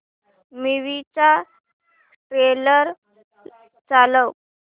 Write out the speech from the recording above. movie चा trailer चालव